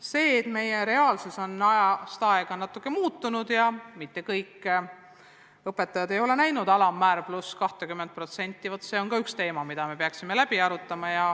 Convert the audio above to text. See, et meie reaalsus on natuke muutunud ja mitte kõik õpetajad ei ole näinud alampalka pluss 20%, on ka üks teema, mida me peaksime arutama.